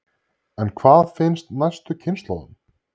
En hvað finnst næstu kynslóðum?